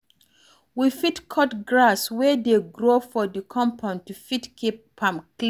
We fit cut grass wey dey grow for di compound to fit keep am clean